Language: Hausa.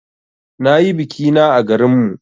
Na yi biki na à garin mu.